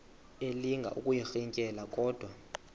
elinga ukuyirintyela kodwa